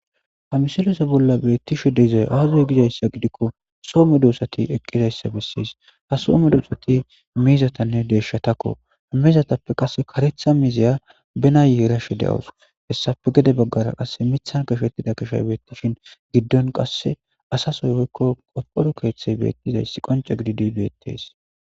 hamisilose bolla beettishi deizay aazuy gizayssa gidikko soo me dosati eqqizayssa bessis ha soo me dusati miizatanne deeshatakko hamizatappe qasse karetha miizeya bena yeerashe de7os hessafe gede baggara qass mithan gashettida kashoy beettishin giddon qasse asasoy woykko qoporu keeththey beettizayss qonca gididi beettes